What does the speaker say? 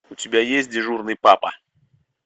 у тебя есть дежурный папа